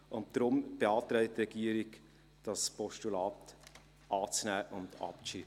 Deshalb beantragt die Regierung, dieses Postulat anzunehmen und abzuschreiben.